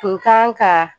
Kun kan ka